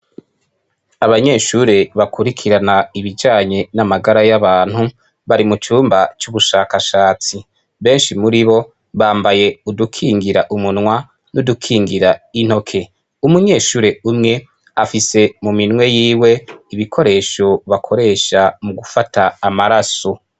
Abanyeshuri bakurikirana ibijanye n'amagara y'abantu, bari mucumba c'ubushakashatsi, benshi muribo bambaye udukingira umunwa n'udukingir'intoke, umunyeshure umwe afise mu minwe yiwe ibikoresho bakoresha mugufata amaraso.